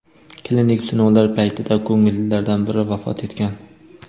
klinik sinovlar paytida ko‘ngillilardan biri vafot etgan.